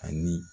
Ani